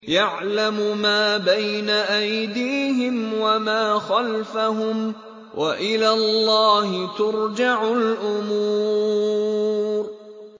يَعْلَمُ مَا بَيْنَ أَيْدِيهِمْ وَمَا خَلْفَهُمْ ۗ وَإِلَى اللَّهِ تُرْجَعُ الْأُمُورُ